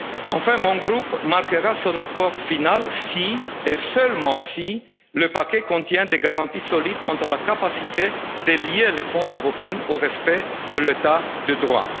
Enfin mon groupe marquera son accord final si, et seulement si, le paquet contient des garanties solides quant à la capacité à lier le Fonds européen au respect de l'État de droit